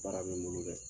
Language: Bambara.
Baara bɛ n bolo dɛ